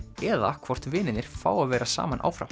eða hvort vinirnir fá að vera saman áfram